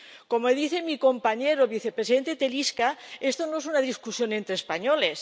Como dice mi compañero el vicepresidente Telička, esto no es una discusión entre españoles